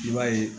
I b'a ye